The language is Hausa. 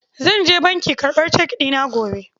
zan je banki karɓar cek ɗina gobe.